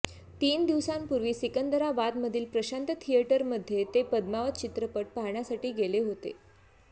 तीन दिवसांपूर्वी सिकंदराबादमधील प्रशांत थिएटरमध्ये ते पद्मावत चित्रपट पाहण्यासाठी गेले होते